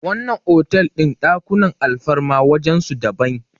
wannan otal din ɗakunan alfarma wajen su daban